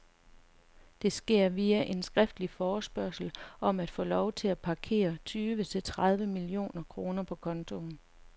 Det sker via en skriftlig forespørgsel om at få lov til at parkere tyve til tredive millioner kroner på kontoen.